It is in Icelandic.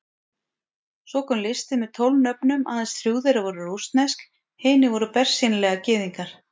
Svo kom listi með tólf nöfnum, aðeins þrjú þeirra voru rússnesk, hinir voru bersýnilega Gyðingar.